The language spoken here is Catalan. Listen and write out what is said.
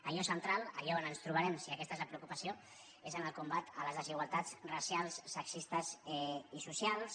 allò central allò on ens trobarem si aquesta és la preocupació és en el combat a les desigualtats racials sexistes i socials